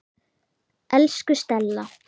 Elsku Stella.